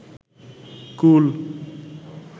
গুল